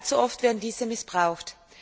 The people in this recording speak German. Allzu oft werden diese missbraucht.